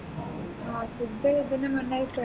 ആ food പിന്നെ